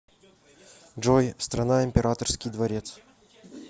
джой страна императорский дворец